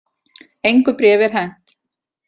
Engu bréfi er hent